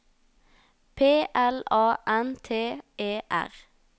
P L A N T E R